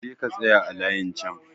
Je ka tsaya a layin chan!